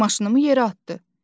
Maşınımı yerə atdı.